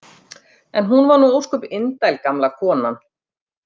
En hún var nú ósköp indæl, gamla konan.